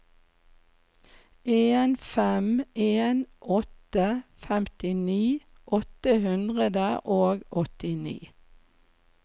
en fem en åtte femtini åtte hundre og åttini